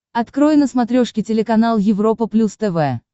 открой на смотрешке телеканал европа плюс тв